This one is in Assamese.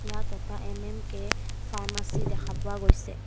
ইয়াত এটা এম_এম_কে ফাৰ্মাচী দেখা পোৱা গৈছে।